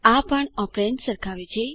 આ પણ ઓપેરેન્દ્સ સરખાવે છે